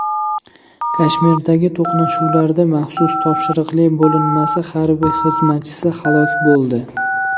Kashmirdagi to‘qnashuvlarda maxsus topshiriqli bo‘linmasi harbiy xizmatchisi halok bo‘ldi.